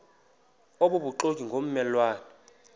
obubuxoki ngomme lwane